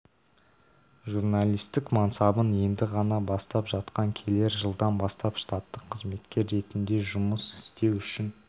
журналистік мансабын енді ғана бастап жатқан келер жылдан бастап штаттық қызметкер ретінде жұмыс істеу үшін